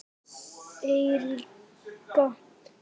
Erika Hendrik